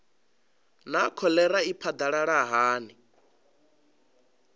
naa kholera i phadalala hani